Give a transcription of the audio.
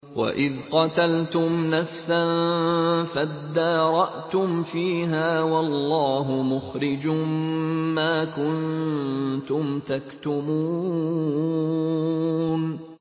وَإِذْ قَتَلْتُمْ نَفْسًا فَادَّارَأْتُمْ فِيهَا ۖ وَاللَّهُ مُخْرِجٌ مَّا كُنتُمْ تَكْتُمُونَ